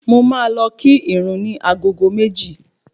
Mo máa lọ kí ìrun ní agogo méjì